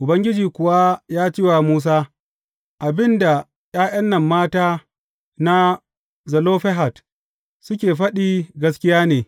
Ubangiji kuwa ya ce wa masa, Abin da ’ya’yan nan mata na Zelofehad suke faɗi gaskiya ne.